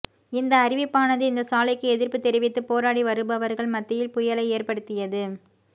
இந்த அறிவிப்பானது இந்த சாலைக்கு எதிர்ப்பு தெரிவித்து போராடி வருபவர்கள் மத்தியில் புயலை ஏற்படுத்தியது